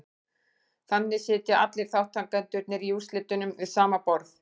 Þannig sitja allir þátttakendurnir í úrslitunum við sama borð.